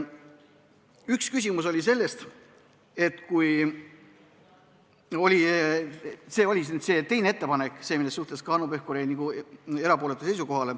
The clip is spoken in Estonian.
Üks küsimus oli seoses teise ettepanekuga, see oli see, mille suhtes Hanno Pevkur jäi erapooletule seisukohale.